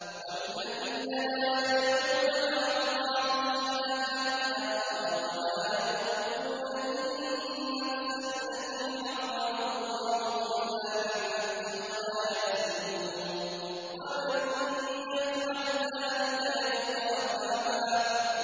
وَالَّذِينَ لَا يَدْعُونَ مَعَ اللَّهِ إِلَٰهًا آخَرَ وَلَا يَقْتُلُونَ النَّفْسَ الَّتِي حَرَّمَ اللَّهُ إِلَّا بِالْحَقِّ وَلَا يَزْنُونَ ۚ وَمَن يَفْعَلْ ذَٰلِكَ يَلْقَ أَثَامًا